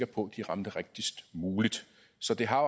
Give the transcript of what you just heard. på at de ramte rigtigst muligt så det har